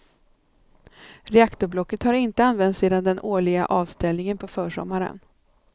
Reaktorblocket har inte använts sedan den årliga avställningen på försommaren.